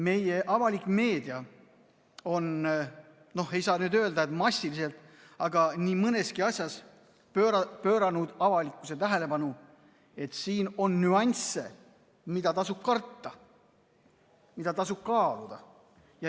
Meie avalik meedia on – noh, ei saa nüüd öelda, et massiliselt, aga nii mõneski asjas – pööranud avalikkuse tähelepanu sellele, et siin on nüansse, mida tasub karta ja mida tasub kaaluda.